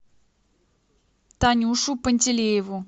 танюшу пантелееву